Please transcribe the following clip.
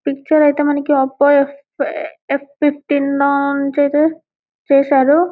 ఈ పిక్చర్ ఐతే మనకి అబ్బా చూసారు